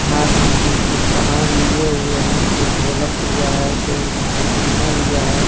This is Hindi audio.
हाथ में कुछ-कुछ सामान लिए हुए हैं कोई ढोलक लिया है कोई हारमोनिया लिया है।